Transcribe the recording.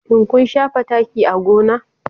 Shin kun shafa taki a gona?